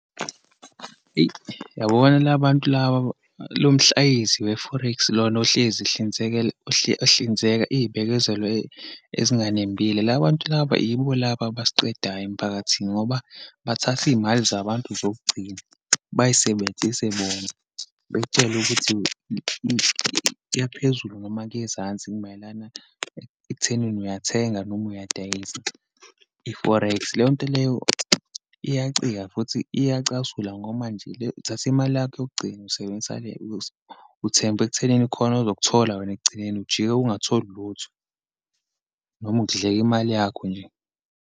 Eyi, yabona la bantu laba, lo mhlayizi we-forex, lona ohlezi ehlinzeka iyibekezelo ezinganembile. La bantu laba yibo laba abasiqedayo emphakathini, ngoba bathatha iyimali zabantu zokugcina bayisebenzise bona. Bekutshele ukuthi kuya phezulu noma kuyezansi, mayelana ekuthenini uyathenga noma uyadayisa i-forex. Leyonto leyo iyacika futhi iyacasula ngoba manje uthathe imali yakho yokugcina usebenzisa uthembe ekuthenini khona ozokuthola wena ekugcineni, ujike ungatholi lutho noma kudleke imali yakho nje.